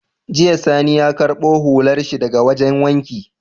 Jiya sani ya karbo hular shi daka wajan wanki